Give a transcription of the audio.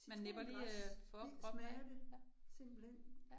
Citrongræs i smager det simpelthen